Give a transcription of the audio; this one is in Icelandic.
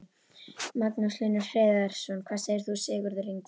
Magnús Hlynur Hreiðarsson: Hvað segir þú Sigurður Ingi?